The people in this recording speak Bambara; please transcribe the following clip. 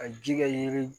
Ka ji kɛ yiri